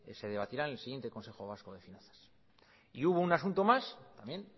se debatirán en el siguiente consejo vasco de finanzas y hubo un asunto más también